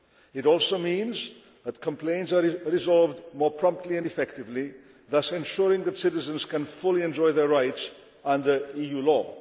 It also means that complaints are resolved more promptly and effectively, thus ensuring that citizens can fully enjoy their rights under EU